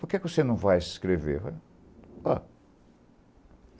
Por que que você não vai se inscrever? O